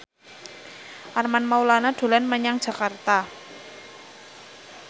Armand Maulana dolan menyang Jakarta